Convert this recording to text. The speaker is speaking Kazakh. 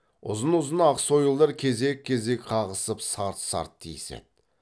ұзын ұзын ақ сойылдар кезек кезек қағысып сарт сарт тиіседі